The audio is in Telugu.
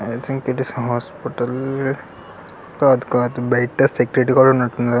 ఐ థింక్ ఇట్స్ హాస్పిటల్ కాదు కాదు బయట సెక్యూరిటీ గార్డ్ ఉన్నట్టు ఉన్నాడు కదా.